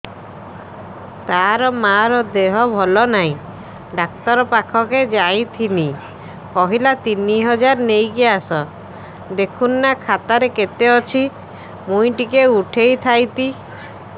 ତାର ମାର ଦେହେ ଭଲ ନାଇଁ ଡାକ୍ତର ପଖକେ ଯାଈଥିନି କହିଲା ତିନ ହଜାର ନେଇକି ଆସ ଦେଖୁନ ନା ଖାତାରେ କେତେ ଅଛି ମୁଇଁ ଟିକେ ଉଠେଇ ଥାଇତି